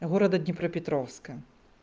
города днепропетровска